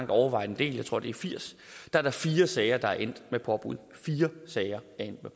overvejende del jeg tror det er firs er der fire sager der er endt med påbud fire sager er endt med